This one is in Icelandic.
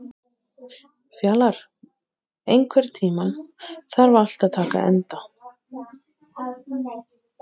Fjalar, einhvern tímann þarf allt að taka enda.